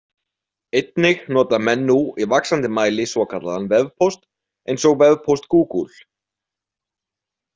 Einnig nota menn nú í vaxandi mæli svokallaðan vefpóst eins og vefpóst Google.